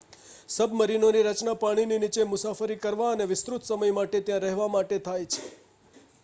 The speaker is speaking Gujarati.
સબ્મરીનોની રચના પાણીની નીચે મુસાફરી કરવા અને વિસ્તૃત સમય માટે ત્યાં રહેવા માટે થાય છે